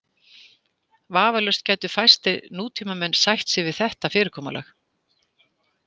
Vafalaust gætu fæstir nútímamenn sætt sig við þetta fyrirkomulag.